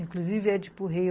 Inclusive, Édipo Rei.